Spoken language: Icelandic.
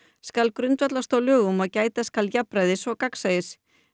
skal grundvallast á lögum og gæta skal jafnræðis og gagnsæis